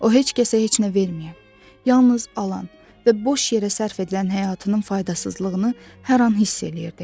O heç kəsə heç nə verməyib, yalnız alan və boş yerə sərf edilən həyatının faydasızlığını hər an hiss eləyirdi.